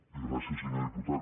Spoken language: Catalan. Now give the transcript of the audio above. i gràcies senyor diputat